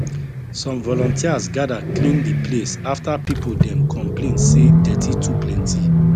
some volunteers gather clean the place after people dem complain say dirty too plenty